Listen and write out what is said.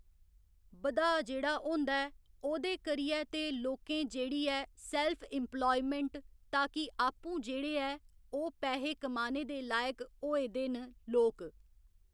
बधाऽ जेह्ड़ा होंदा ऐ ओह्दे करियै ते लोकें जेह्ड़ी ऐ सैल्फ इम्पलायमैंट ताकि आपूं जेह्ड़े ऐ ओह् पैहे कमाने दे लायक होए दे न लोक।